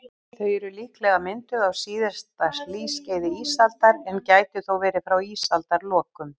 Þau eru líklega mynduð á síðasta hlýskeiði ísaldar, en gætu þó verið frá ísaldarlokum.